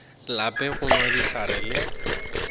lape go nwa dihlare le